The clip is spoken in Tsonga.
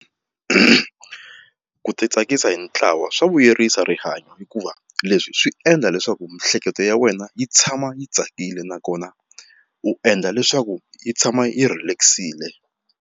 Ku ti tsakisa hi ntlawa swa vuyerisa rihanyo hikuva leswi swi endla leswaku miehleketo ya wena yi tshama yi tsakile nakona u endla leswaku yi tshama yi relax-ile.